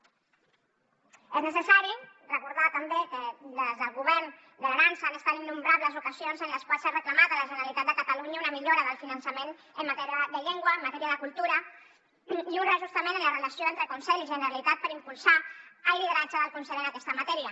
és necessari recordar també que des del govern de l’aran han estat innombrables les ocasions en les quals s’ha reclamat a la generalitat de catalunya una millora del finançament en matèria de llengua en matèria de cultura i un reajustament en la relació entre conselh i generalitat per impulsar el lideratge del conselh en aquesta matèria